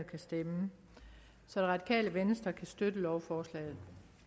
kan stemme så det radikale venstre kan støtte lovforslaget